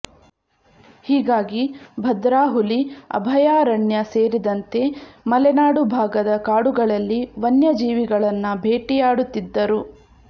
ಹೀಗಾಗಿ ಭದ್ರಾ ಹುಲಿ ಅಭಯಾರಣ್ಯ ಸೇರಿದಂತೆ ಮಲೆನಾಡು ಭಾಗದ ಕಾಡುಗಳಲ್ಲಿ ವನ್ಯಜೀವಿಗಳನ್ನ ಭೇಟಿಯಾಡುತ್ತಿದ್ದರು